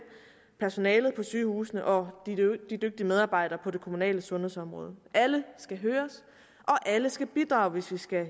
personalet på sygehusene og de dygtige medarbejdere på det kommunale sundhedsområde alle skal høres og alle skal bidrage hvis vi skal